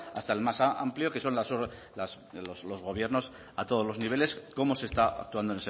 hasta el más amplio que son los gobiernos a todos los niveles cómo se está actuando